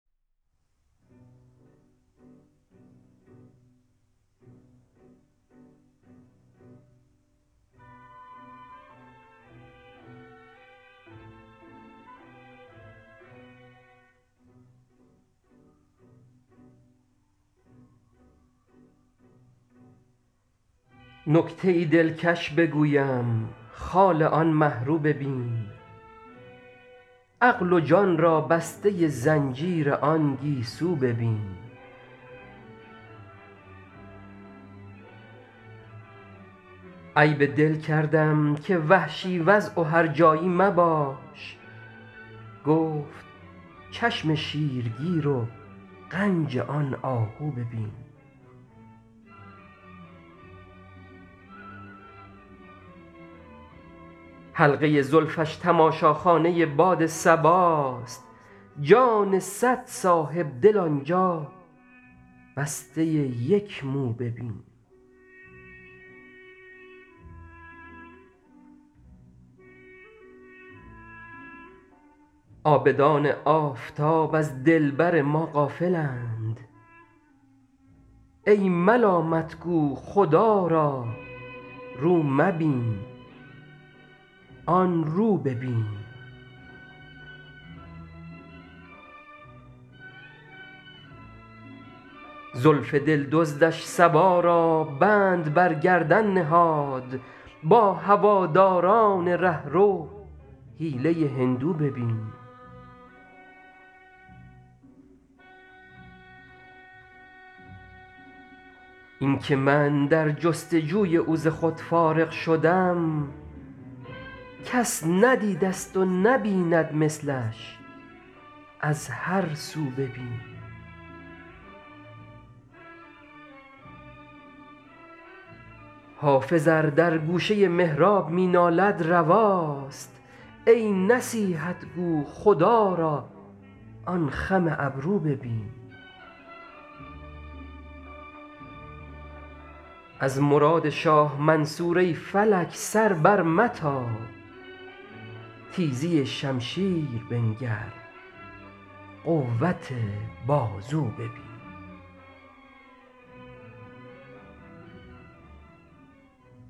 نکته ای دلکش بگویم خال آن مه رو ببین عقل و جان را بسته زنجیر آن گیسو ببین عیب دل کردم که وحشی وضع و هرجایی مباش گفت چشم شیرگیر و غنج آن آهو ببین حلقه زلفش تماشاخانه باد صباست جان صد صاحب دل آن جا بسته یک مو ببین عابدان آفتاب از دلبر ما غافل اند ای ملامت گو خدا را رو مبین آن رو ببین زلف دل دزدش صبا را بند بر گردن نهاد با هواداران ره رو حیله هندو ببین این که من در جست وجوی او ز خود فارغ شدم کس ندیده ست و نبیند مثلش از هر سو ببین حافظ ار در گوشه محراب می نالد رواست ای نصیحت گو خدا را آن خم ابرو ببین از مراد شاه منصور ای فلک سر برمتاب تیزی شمشیر بنگر قوت بازو ببین